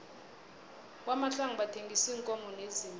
kwamahlangu bathengisa iinkomo neziimvu